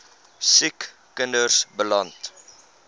siek kinders beland